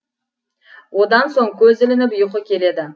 одан соң көз ілініп ұйқы келеді